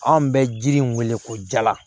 Anw bɛ jiri in wele ko jala